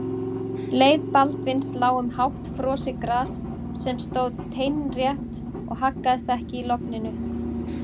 Leið Baldvins lá um hátt frosið gras sem stóð teinrétt og haggaðist ekki í logninu.